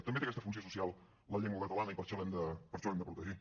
també té aquesta funció social la llengua catalana i per això l’hem de protegir